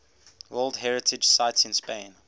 world heritage sites in spain